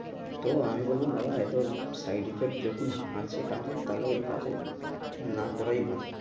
তো আমি বললাম বাবা side effect যখন আছে কাজে তাহলে ওই কাজে না করাই ভালো